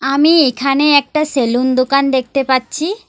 আমি এখানে একটা সেলুন দোকান দেখতে পাচ্ছি।